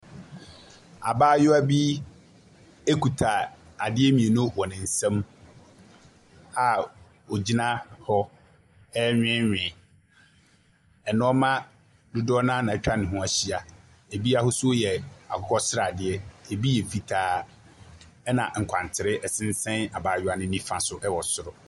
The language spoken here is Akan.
Abaayewa bi kuta ade mmienu wɔ ne nsam a ogyina hɔ renweewee. Nnoɔma dodoɔ ara na atwa ne ho ahyia. Ebi ahosuo yɛ akokɔsradeɛ. Ebi yɛ fitaa. Ɛna ebi yɛ fitaa ɛna nkwantere abaayewa no nifa so wɔ soro.